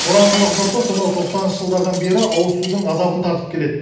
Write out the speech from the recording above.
тораңғылық жұрты сонау тоқсаныншы жылдардан бері ауызсудың азабын тартып келеді